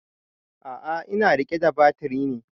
A'a ina riƙe da batiri ne